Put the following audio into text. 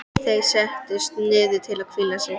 Þeir settust niður til að hvíla sig.